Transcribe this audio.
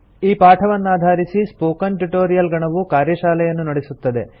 ಈ ಪಾಠವನ್ನಾಧಾರಿಸಿ spoken tutorial ಗಣವು ಕಾರ್ಯಶಾಲೆಯನ್ನು ನಡೆಸುತ್ತದೆ